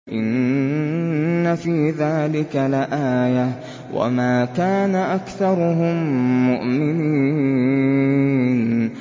إِنَّ فِي ذَٰلِكَ لَآيَةً ۖ وَمَا كَانَ أَكْثَرُهُم مُّؤْمِنِينَ